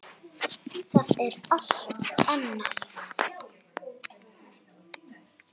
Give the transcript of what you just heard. Það er allt annað.